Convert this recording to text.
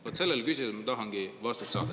Vaat sellele küsimusele ma tahangi vastust saada.